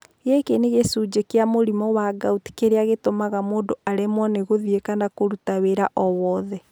Gĩkĩ nĩ gĩcunjĩ kĩa mũrimũ wa gout kĩrĩa gĩtũmaga mũndũ aremwo nĩ gũthiĩ kana na kũruta wĩra o wothe.